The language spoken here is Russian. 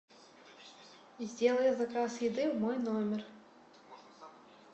сделай заказ еды в мой номер